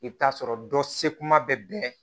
I bɛ t'a sɔrɔ dɔ se kuma bɛ bɛn